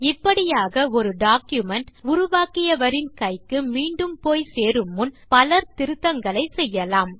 இப்படியாக ஒரு டாக்குமென்ட் உருவாக்கியவரின் கைக்கு மீண்டும் போய் சேரு முன் பலர் திருத்தங்களை செய்யலாம்